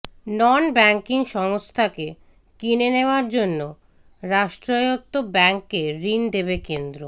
নন banking সংস্থাকে কিনে নেওয়ার জন্য রাষ্ট্রায়ত্ত ব্যাঙ্ককে ঋণ দেবে কেন্দ্র